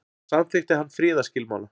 þar samþykkti hann friðarskilmála